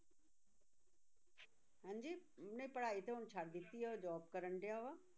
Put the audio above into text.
ਹਾਂਜੀ, ਨਹੀਂ ਪੜ੍ਹਾਈ ਤਾਂ ਹੁਣ ਛੱਡ ਦਿੱਤੀ, ਉਹ job ਕਰਨ ਡਿਆ ਵਾ।